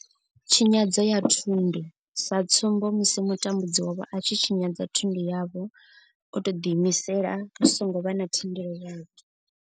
Tshinyadzo ya thundu, sa tsumbo, musi mutambudzi wavho a tshi tshinyadza thundu yavho o tou ḓi imisela hu songo vha na thendelo yavho.